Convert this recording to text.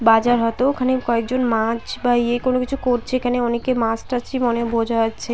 বাজার হতো। ওখানে কয়েকজন মাছ বা ইয়ে কোন কিছু করছে। এখানে অনেকে মাছ টাছ ই মনে বোঝা যাচ্ছে।